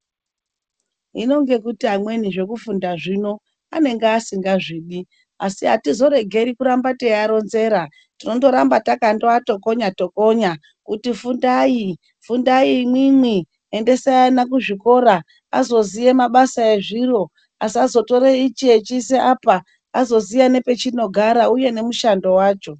Hino ngekuti amweni zvekufunda zvino anenge asingazvidi ,asi atizoregeri kuramba teiaronzera ,tinoramba takandoatokonya tokonya kuti fundai ,fundai imwimwi ,endesai ana kuzvikora azoziye mabasa ezviro asazotore ichi echiisa apa, azoziya nepachinogara uye nemushando wacho.